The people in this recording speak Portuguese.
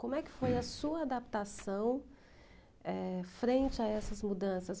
Como é que foi a sua adaptação, eh, frente a essas mudanças?